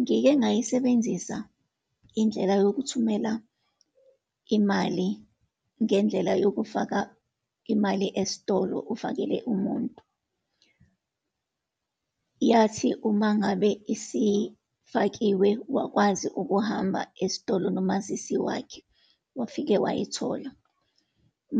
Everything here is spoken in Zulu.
Ngike ngayisebenzisa indlela yokuthumela imali ngendlela yokufaka imali esitolo, ufakele umuntu. Yathi uma ngabe isifakiwe, wakwazi ukuhamba esitolo nomazisi wakhe, wafike wayithola.